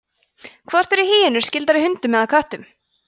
hvort eru hýenur skyldari hundum eða köttum